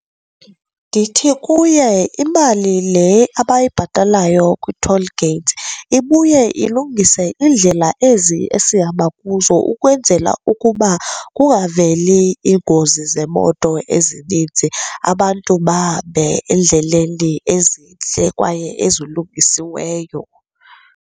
Ndithi kuye imali le abayibhatalayo kwi-toll gate ibuye ilungise iindlela ezi esihamba kuzo ukwenzela ukuba kungaveli iingozi zemoto ezininzi, abantu bahambe endleleni ezintle kwaye ezilungisiweyo.